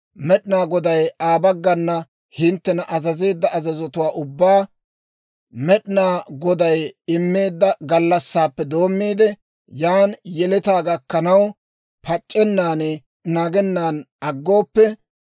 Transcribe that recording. Med'inaa Goday Aa baggana hinttena azazeedda azazotuwaa ubbaa, Med'inaa Goday immeedda gallassaappe doommiide, yaana yeletaa gakkanaw, pac'c'ennan naagennan aggooppe,